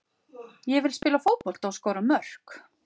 Ég vil spila fótbolta og skora mörk.